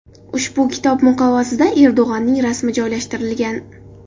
Ushbu kitob muqovasida Erdo‘g‘onning rasmi joylashtirilgan.